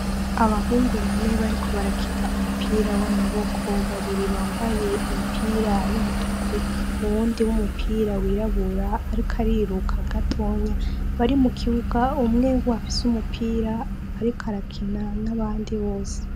Abahungu bariko barakina umupira wamaboko babiri bambaye umupira wumutuku uwundi w'umupira rwirabura Ariko ariruka gatoya umwe afise umupira ariko arakina nabandi bose.